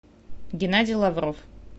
геннадий лавров